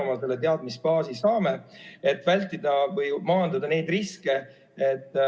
Kust meie oma teadmisbaasi saame, et vältida või maandada neid riske?